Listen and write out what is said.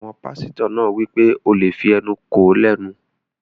Àwọn pásítọ̀ náà wí pé, "O lè fí ẹnu kò ó lẹ́nu!"